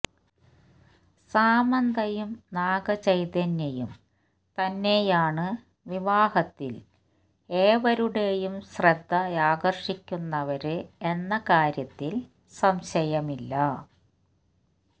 സാമന്തയും നാഗചൈതന്യയും തന്നെയാണ് വിവാഹത്തില് ഏവരുടേയും ശ്രദ്ധയാകര്ഷിക്കുന്നവര് എന്ന കാര്യത്തില് സംശയമില്ല